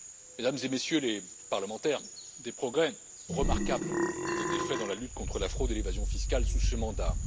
Mesdames et Messieurs les parlementaires, des progrès remarquables ont été faits dans la lutte contre la fraude et l'évasion fiscales sous ce mandat.